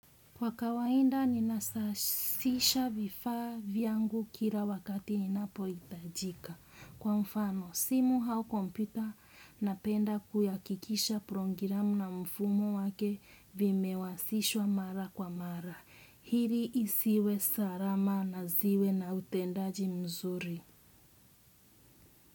Kwa kawainda, ninasasisha vifaa vyangu kira wakati inapo itajika. Kwa mfano, simu hau komputa napenda kuyakikisha prongiramu na mfumo wake vimewasishwa mara kwa mara. Hiri isiwe sarama na ziwe na utendaji mzuri.